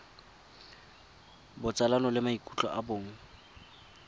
botsalano le maikutlo a bong